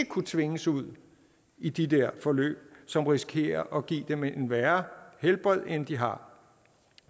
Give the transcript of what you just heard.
kunne tvinges ud i de der forløb som risikerer at give dem et værre helbred end de har